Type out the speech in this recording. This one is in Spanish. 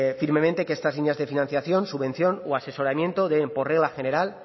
firmemente que estas líneas de financiación subvención o asesoramiento deben por regla general